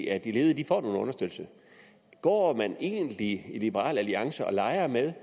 at de ledige får nogen understøttelse går man egentlig i liberal alliance og leger med